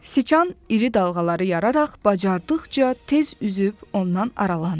Siçan iri dalğaları yararaq bacardıqca tez üzüb ondan aralandı.